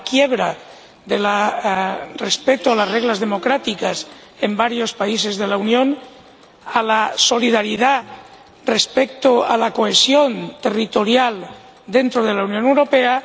a la quiebra del respeto de las reglas democráticas en varios países de la Unión a la solidaridad respecto a la cohesión territorial dentro de la Unión Europea